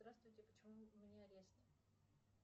здравствуйте почему у меня арест